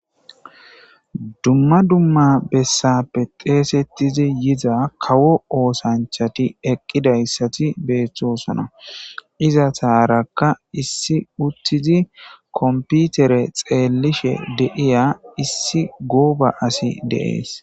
Dumma dumma bessappe xeesettizi yiza kawo oosanchati eqqidayssati beethtosana iza taarakka issi uttizi komputere xeellishe deiya issi gooba asi de7ees.